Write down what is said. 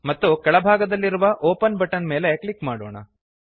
ಮತ್ತು ಕೆಳಭಾಗದಲ್ಲಿರುವ open button ಮೇಲೆ ಕ್ಲಿಕ್ ಮಾಡೋಣ